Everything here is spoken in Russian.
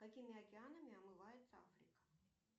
какими океанами омывается африка